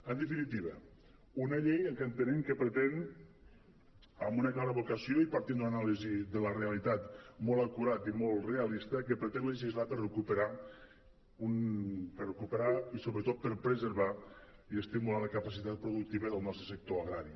en definitiva una llei que entenem que pretén amb una clara vocació i partint d’una anàlisi de la realitat molt acurada i molt realista legislar per recuperar i sobretot per preservar i estimular la capacitat productiva del nostre sector agrari